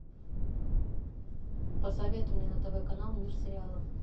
посоветуй мне на тв канал мир сериалов